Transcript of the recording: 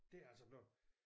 Det er altså blevet